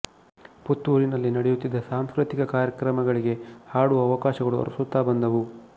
ಪುತ್ತೂರಿನಲ್ಲಿ ನಡೆಯುತ್ತಿದ್ದ ಸಾಂಸ್ಕೃತಿಕ ಕಾರ್ಯಕ್ರಮಗಳಿಗೆ ಹಾಡುವ ಅವಕಾಶಗಳು ಅರಸುತ್ತಾ ಬಂದವು